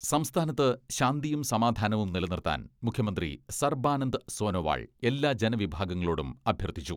സംസ്ഥാനത്ത് ശാന്തിയും സമാധാനവും നിലനിർത്താൻ മുഖ്യമന്ത്രി സർബാനന്ദ് സോനോവാൾ എല്ലാ ജനവിഭാഗങ്ങളോടും അഭ്യർത്ഥിച്ചു.